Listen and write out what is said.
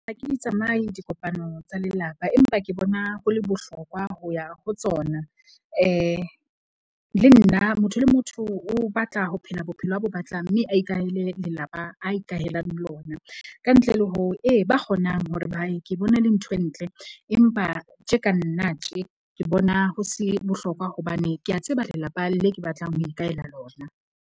Ha ke di tsamaye dikopanong tsa lelapa empa ke bona ho le bohlokwa ho ya ho tsona. Le nna motho le motho o batla ho phela bophelo a bo batlang mme a ikahele lelapa a ikahelang lona ka ntle le ho, ee ba kgonang hore ba ye ke bone e le ntho e ntle. Empa tje ka nna tje ke bona ho se bohlokwa hobane ke ya tseba lelapa le ke batlang ho ikahela lona.